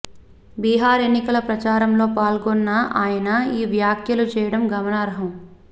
బిహార్ ఎన్నికల ప్రచారంలో పాల్గొన్న ఆయన ఈ వ్యాఖ్యలు చేయడం గమనార్హం